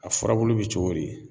A furabulu be cogo di